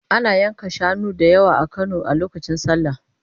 Ana yanka shanu da yawa a Kano a lokacin sallah.